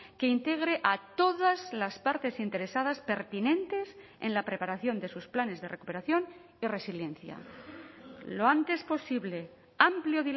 que integre a todas las partes interesadas pertinentes en la preparación de sus planes de recuperación y resiliencia lo antes posible amplio